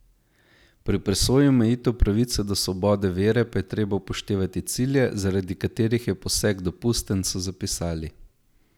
Pri presoji omejitev pravice do svobode vere pa je treba upoštevati cilje, zaradi katerih je poseg dopusten, so zapisali.